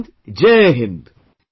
All NCC cadets Jai Hind Sir